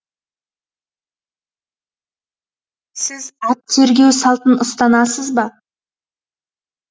сіз ат тергеу салтын ұстанасыз ба